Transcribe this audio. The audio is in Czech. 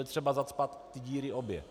Je třeba zacpat ty díry obě.